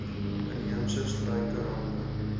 inheemse struike rante